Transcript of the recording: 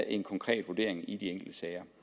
en konkret vurdering i de enkelte sager